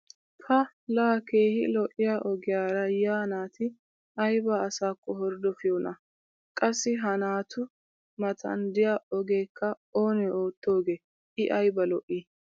pa laa keehi lo'iya ogiyara yiya naati ayba asaakko horddofiyoonaa!! qassi ha naatu matan diya ogeekka oonee ootoogee i aybba lo'ii